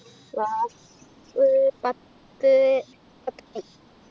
class പത്ത് പത്തുമണി